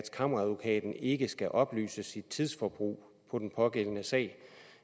kammeradvokaten ikke skal oplyse sit tidsforbrug på den pågældende sag